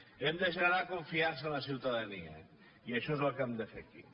hem de generar confiança en la ciutadania i això és el que hem de fer aquí